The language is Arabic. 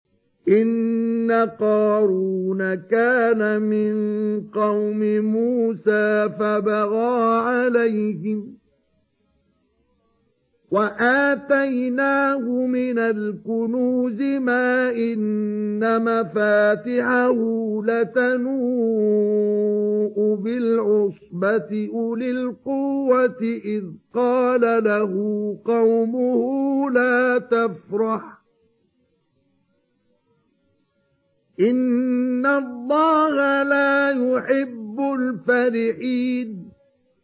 ۞ إِنَّ قَارُونَ كَانَ مِن قَوْمِ مُوسَىٰ فَبَغَىٰ عَلَيْهِمْ ۖ وَآتَيْنَاهُ مِنَ الْكُنُوزِ مَا إِنَّ مَفَاتِحَهُ لَتَنُوءُ بِالْعُصْبَةِ أُولِي الْقُوَّةِ إِذْ قَالَ لَهُ قَوْمُهُ لَا تَفْرَحْ ۖ إِنَّ اللَّهَ لَا يُحِبُّ الْفَرِحِينَ